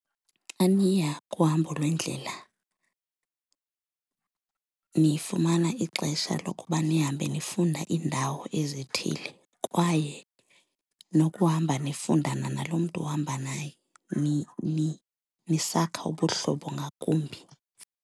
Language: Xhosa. Xa niya kuhambo lwendlela nifumana ixesha lokuba nihambe nifunda iindawo ezithile kwaye nokuhamba nifundana nalo mntu uhamba naye nisakha ubuhlobo ngakumbi.